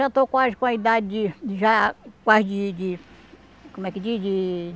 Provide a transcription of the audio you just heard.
Já estou quase com a idade de de... Já quase de de... Como é que diz? De...